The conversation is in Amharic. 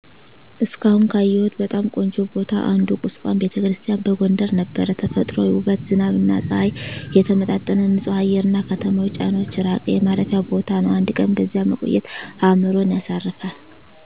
እስካሁን ካየሁት በጣም ቆንጆ ቦታ አንዱ ቁስቋም ⛪ቤተክርስቲያን በጎንደር ነበር። ተፈጥሯዊ ውበት፣ ዝናብና ፀሐይ የተመጣጠነ ንፁህ አየር፣ እና ከተማዊ ጫናዎች ራቀ የማረፊያ ቦታ ነው። አንድ ቀን በዚያ መቆየት አእምሮን ያሳርፋል።